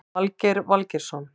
Valgeir Valgeirsson